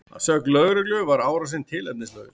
Að sögn lögreglu var árásin tilefnislaus